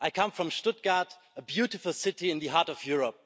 I come from Stuttgart, a beautiful city in the heart of Europe,